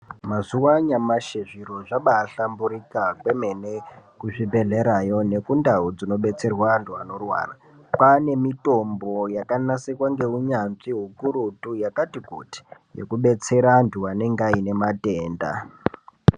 Mazuwa anyamashi zviro zvabahlamburika kwemene kuzvibhedhlerayo nekundau dzinobetserwa antu anorwara, kwane mitombo yakanasirwa ngeunyanzvi hukurutu yakati kuti, yekubetsera antu anenge ane matenda.